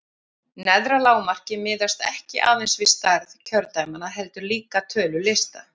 Neðra lágmarkið miðast ekki aðeins við stærð kjördæmanna heldur líka tölu lista.